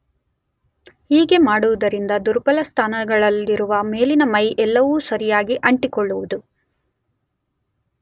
ಹೀಗೆ ಮಾಡುವುದರಿಂದ ದುರ್ಬಲ ಸ್ಥಾನಗಳಿಲ್ಲದೆ ಮೇಲಿನ ಮೈ ಎಲ್ಲವೂ ಸರಿಯಾಗಿ ಅಂಟಿಕೊಳ್ಳುವುದು.